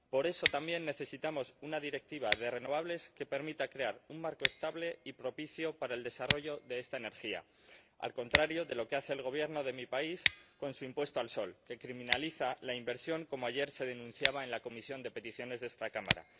Por eso, también, necesitamos una Directiva de renovables que permita crear un marco estable y propicio para el desarrollo de esta energía, al contrario de lo que hace el Gobierno de mi país con su impuesto al sol, que criminaliza la inversión, como ayer se denunciaba en la Comisión de Peticiones de esta Cámara.